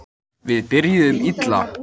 Við byrjuðum illa